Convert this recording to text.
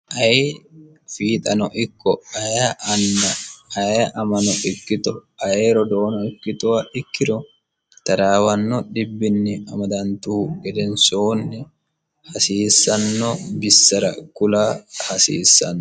ayi fiixano ikko aye anna aye amano ikkito aye rodoono ikkitowa ikkiro taraawanno dhibbinni amadantuhu gedensoonni hasiissanno bissara kula hasiissanno